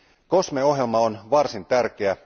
COSME ohjelma on varsin tärkeä.